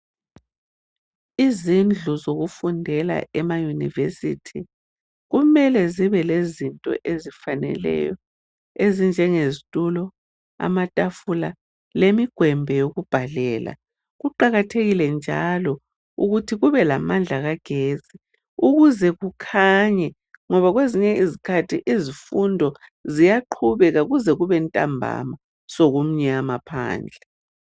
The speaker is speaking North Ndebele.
Izindlu zokufundela emayunivesithi kumele zibe lezinto ezifaneleyo, ezinjengezitulo, amatafula lemigwembe yokubhalela. Kuqakathekile njalo ukuthi kube lamandla kagetsi ukuze kukhanye ngoba kwezinye izikhathi izifundo ziyaqhubeka kuze kube ntambama sokumnyama phandle.